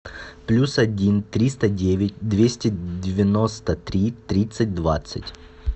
плюс один триста девять двести девяносто три тридцать двадцать